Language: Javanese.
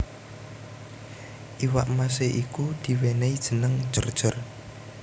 Iwak mase iku diwenehi jeneng Jor jor